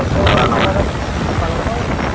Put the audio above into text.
Kalanaur